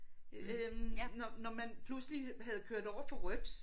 Øh når når man pludselig havde kørt over for rødt